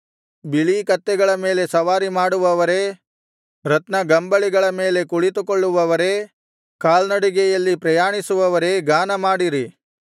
ಬಿಳೀ ಕತ್ತೆಗಳ ಮೇಲೆ ಸವಾರಿಮಾಡುವವರೇ ರತ್ನಗಂಬಳಿಗಳ ಮೇಲೆ ಕುಳಿತುಕೊಳ್ಳುವವರೇ ಕಾಲ್ನಡಿಗೆಯಲ್ಲಿ ಪ್ರಯಾಣಿಸುವವರೇ ಗಾನಮಾಡಿರಿ